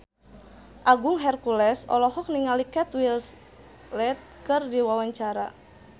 Agung Hercules olohok ningali Kate Winslet keur diwawancara